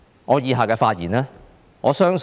我以下的發言，我相信是......